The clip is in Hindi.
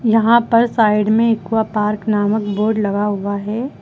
यहां पर साइड में एक्वा पार्क नामक बोर्ड लगा हुआ है।